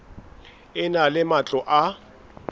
e na le matlo a